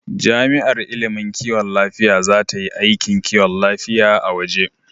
Jami'ar ilimin kiwon lafiya za ta yi aikin kiwon lafiya a waje.